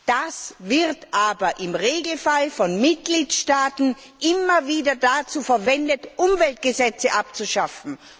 Dies wird aber im Regelfall von Mitgliedstaaten immer wieder dazu verwendet, Umweltgesetze abzuschaffen.